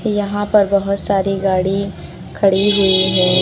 यहां पर बहुत सारी गाड़ी खड़ी हुई हैं।